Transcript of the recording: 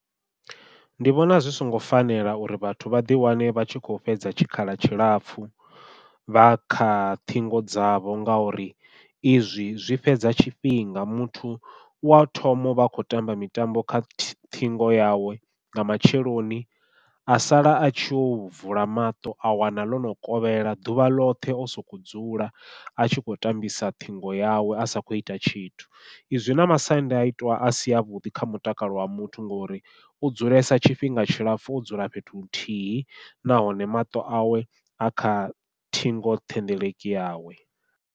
Ndi vhona zwi songo fanela uri vhathu vha ḓi wane vha tshi kho fhedza tshikhala tshilapfhu vha kha ṱhingo dzavho, ngauri i zwi zwi fhedza tshifhinga muthu uya thoma uvha a kho tamba mitambo kha ṱhingo yawe nga matsheloni a sala a tshi yo u vula maṱo a wana ḽono kovhela ḓuvha ḽoṱhe o soko dzula a tshi kho tambisa ṱhingo yawe a sa khou ita tshithu. Zwi na masiandoitwa a si avhuḓi kha mutakalo wa muthu, ngori u dzulesa tshifhinga tshilapfhu o dzula fhethu huthihi nahone maṱo awe a kha ṱhingo thendeleki yawe.